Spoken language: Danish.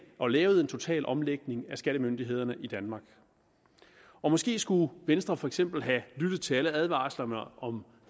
og lavede en total omlægning af skattemyndighederne i danmark og måske skulle venstre for eksempel have lyttet til alle advarslerne om